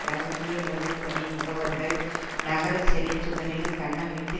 இரகசிய உளவுப்பணி முகவர்கள் நகரச் சிறை சுவரில் கன்னமிட்டு